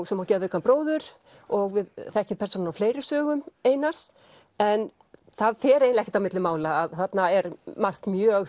sem á geðveikan bróður og við þekkjum persónur úr fleiri sögum Einars en það fer eiginlega ekkert á milli mála að þarna er margt mjög